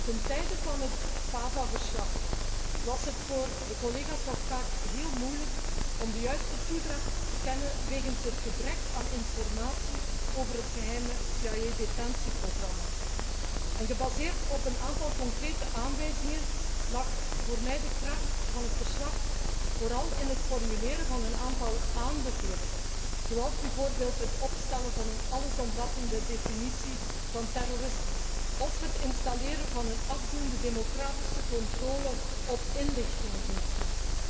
Ten tijde van het verslag Fava was het voor de collega's immers nog vaak heel moeilijk om de juiste toedracht te kennen wegens het gebrek aan informatie over het geheime CIA detentieprogramma. Gebaseerd op een aantal concrete aanwijzingen lag voor mij de kracht van het verslag vooral in het formuleren van een aantal aanbevelingen, zoals bijvoorbeeld het opstellen van een allesomvattende definitie van terrorisme of het installeren van een afdoende democratische controle op inlichtingendiensten.